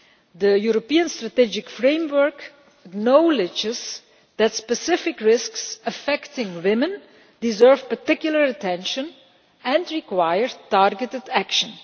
The European Strategic Framework acknowledges that specific risks affecting women deserve particular attention and require targeted action.